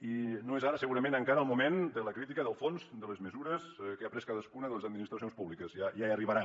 i no és ara segurament encara el moment de la crítica del fons de les mesures que ha pres cadascuna de les administracions públiques ja hi arribarà